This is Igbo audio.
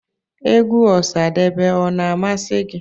Egwú Osadebe ọ na-amasi gị?